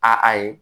A a ye